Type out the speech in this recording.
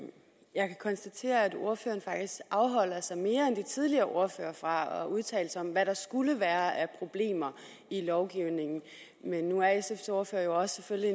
jeg kan konstatere at ordføreren faktisk afholder sig mere end de tidligere ordførere fra at udtale sig om hvad der skulle være af problemer i lovgivningen men nu er sfs ordfører jo selvfølgelig